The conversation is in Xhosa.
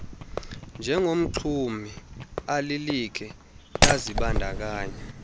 njengomxumi alilikhe lazibandakanya